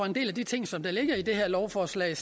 en del af de ting som ligger i det her lovforslag